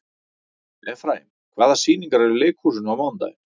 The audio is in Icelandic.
Efraím, hvaða sýningar eru í leikhúsinu á mánudaginn?